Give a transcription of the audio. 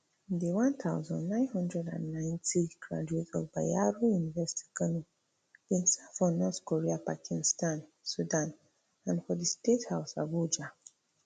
di one thousand, nine hundred and ninety graduate of bayero university kano bin serve for north korea pakistan sudan and for di state house abuja